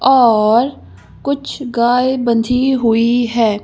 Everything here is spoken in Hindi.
और कुछ गायबंधी हुई है।